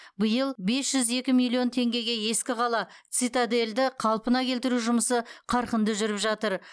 биыл бес жүз екі миллион теңгеге ескі қала цитадельді қалпына келтіру жұмысы қарқынды жүріп жатыр